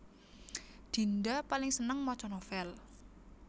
Dinda paling seneng maca novèl